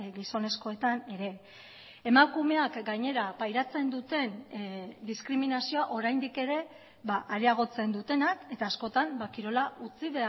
gizonezkoetan ere emakumeak gainera pairatzen duten diskriminazioa oraindik ere areagotzen dutenak eta askotan kirola utzi